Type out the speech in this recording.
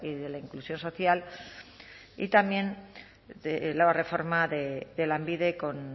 de la inclusión social y también la reforma de lanbide con